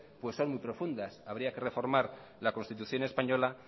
son muy profundas habría que reformar la constitución española